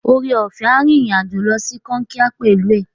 Oreọ̀fẹ́ a rìnrìn-àjò lọ sí Kankia pẹ̀lú ẹ.